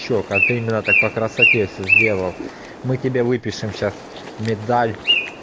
че как ты именно так по красоте все сделал мы тебе выпишем сейчас медаль